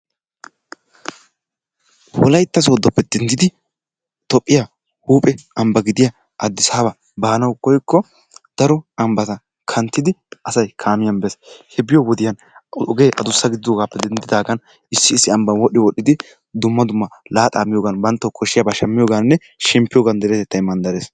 Wolaytta sooddoppe denddidi Toophphiya huphphee ambba gidiya Addisaaba baanawu koykko daro ambbata kanttidi asay kaamiyan bees he biyo wodiya ogee addussa gididdogaappe denddidaagan issi issi ambban wodhdhi wodhdhidi dumma dumma laaxaa miyogan banttawu koshshiyaba shmiyogaaninne shemppiyogan deretettay mandarees.